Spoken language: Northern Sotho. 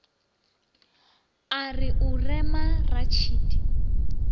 a re o rema ratšhidi